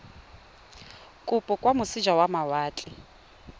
kopo kwa moseja wa mawatle